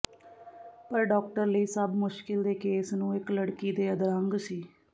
ਪਰ ਡਾਕਟਰ ਲਈ ਸਭ ਮੁਸ਼ਕਲ ਦੇ ਕੇਸ ਨੂੰ ਇੱਕ ਲੜਕੀ ਦੇ ਅਧਰੰਗ ਸੀ